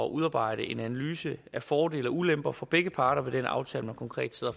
udarbejde en analyse af fordele og ulemper for begge parter ved den aftale man konkret sidder